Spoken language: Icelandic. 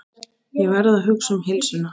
Verð að hugsa um heilsuna.